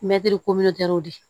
Mɛtiri de